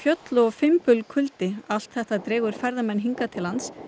fjöll og fimbulkuldi allt dregur ferðamenn hingað til lands